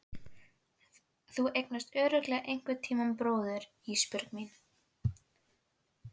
Þú eignast örugglega einhverntíma bróður Ísbjörg mín.